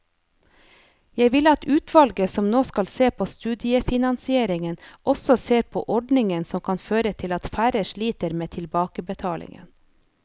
Jeg vil at utvalget som nå skal se på studiefinansieringen også ser på ordninger som kan føre til at færre sliter med tilbakebetalingen.